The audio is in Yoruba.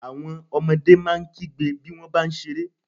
Àwọn ọmọdé máa ń kígbe bí wọ́n bá ń ṣeré.